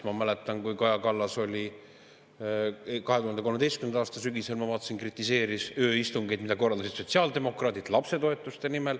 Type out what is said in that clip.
Ma mäletan, kui Kaja Kallas 2013. aasta sügisel kritiseeris ööistungeid, mida korraldasid sotsiaaldemokraadid lapsetoetuste nimel.